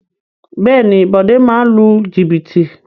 Bẹ́ẹ̀ni Bode máa ń lu jìbìtì